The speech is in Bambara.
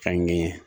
Fɛnkɛ ye